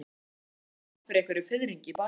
Lóa Lóa fann fyrir einhverjum fiðringi í bakinu.